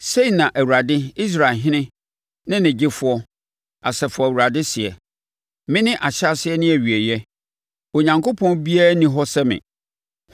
“Sei na Awurade Israelhene ne Ɔgyefoɔ, Asafo Awurade seɛ: Mene Ahyɛaseɛ ne Awieeɛ; Onyankopɔn biara nni hɔ sɛ me.